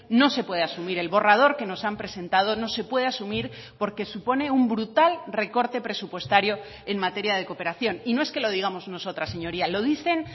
no se puede asumir el borrador que nos han presentado no se puede asumir porque supone un brutal recorte presupuestario en materia de cooperación y no es que lo digamos nosotras señorías lo dicen